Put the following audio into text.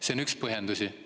See on üks põhjendusi.